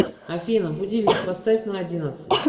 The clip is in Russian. афина будильник поставь на одиннадцать